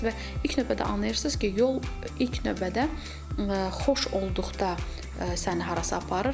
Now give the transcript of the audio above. Və ilk növbədə anlayırsınız ki, yol ilk növbədə xoş olduqda səni harasa aparır.